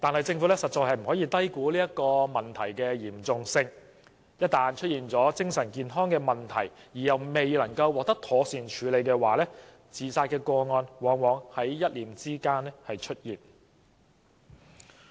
政府實在不能低估這些問題的嚴重性，假如市民出現精神健康問題而又不能獲得妥善處理的話，便可能在一念之間做出自殺行為。